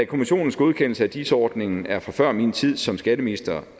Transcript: kommissionens godkendelse af dis ordningen er fra før min tid som skatteminister